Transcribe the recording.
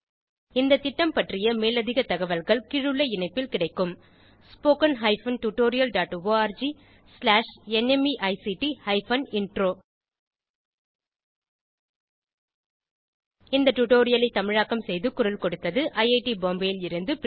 இந்த திட்டம் பற்றிய மேலதிக தகவல்கள் கீழுள்ள இணைப்பில் கிடைக்கும் spoken hyphen tutorial dot org slash நிமைக்ட் ஹைபன் இன்ட்ரோ இந்த டுடோரியலை தமிழாக்கம் செய்து குரல் கொடுத்தது ஐஐடி பாம்பேவில் இருந்து பிரியா